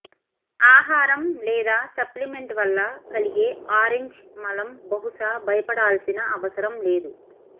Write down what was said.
ఆహారం లేదా సప్లిమెంట్ వల్ల కలిగే ఆరంజ్ మలం బహుశా భయపడాల్సిన అవసరం లేదు